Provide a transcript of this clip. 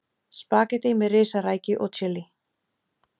Spagettí með risarækju og chili